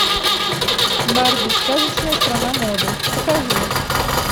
барби сказочная страна моды покажи